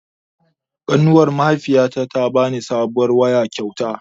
Ƙanuwar mahaifiyata ta bani sabuwar waya kyauta